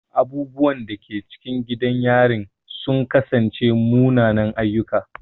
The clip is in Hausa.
Abubuwan da ke cikin gidan yarin sun kasance munanan ayyuka.